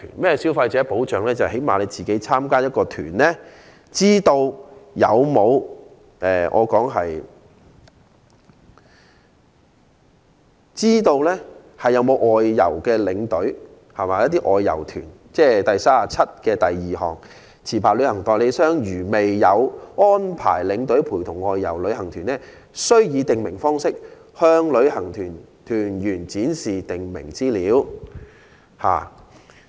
就是說，最低限度參加旅行團的人士，應知悉外遊團有沒有外遊領隊，即我的修正案第372條所訂定，"未有安排領隊陪同外遊旅行團，須以訂明方式，向旅行團團員展示訂明資料"。